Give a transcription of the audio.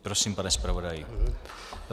Prosím, pane zpravodaji.